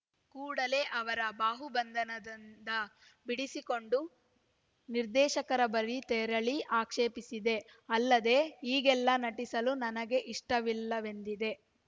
ಕೂಡಲೇ ಅವರ ಬಾಹು ಬಂಧನಂದ ಬಿಡಿಸಿಕೊಂಡು ನಿರ್ದೇಶಕರ ಬಳಿ ತೆರಳಿ ಆಕ್ಷೇಪಿಸಿದೆ ಅಲ್ಲದೆ ಹೀಗೆಲ್ಲ ನಟಿಸಲು ನನಗೆ ಇಷ್ಟವಿಲ್ಲವೆಂದಿದ್ದೆ